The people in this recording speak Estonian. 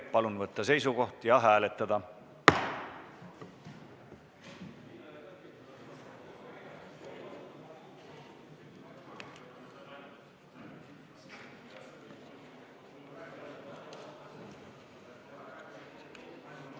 Palun võtta seisukoht ja hääletada!